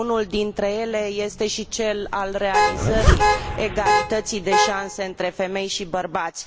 Unul dintre ele este și cel al realizării egalității de șanse între femei și bărbați.